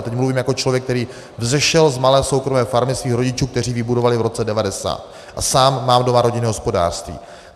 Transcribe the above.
A teď mluvím jako člověk, který vzešel z malé soukromé farmy svých rodičů, kteří ji vybudovali v roce 1990, a sám mám doma rodinné hospodářství.